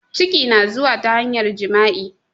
Ciki na zuwa ta hanyar jima'i